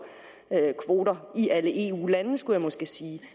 i alle eu lande skulle jeg måske sige